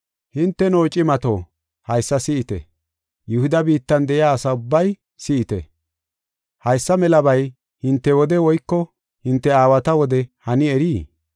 Hinteno cimato, haysa si7ite! Yihuda biittan de7iya asa ubbay si7ite! Haysa melabay hinte wode woyko hinte aawata wode hani erii?